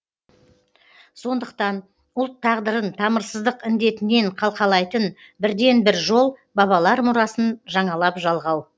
сондықтан ұлт тағдырын тамырсыздық індетінен қалқалайтын бірден бір жол бабалар мұрасын жаңалап жалғау